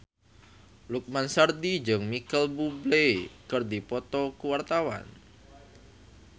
Lukman Sardi jeung Micheal Bubble keur dipoto ku wartawan